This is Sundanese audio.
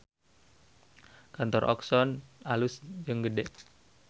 Kantor Oxone alus jeung gede